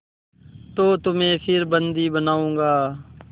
तो तुम्हें फिर बंदी बनाऊँगा